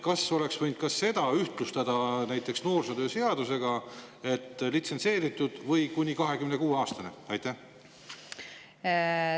Kas oleks võinud seda sätet ühtlustada noorsootöö seadusega, et litsentseeritud või kuni 26-aastane inimene?